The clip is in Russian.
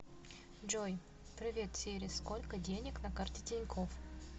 джой привет сири сколько денег на карте тинькофф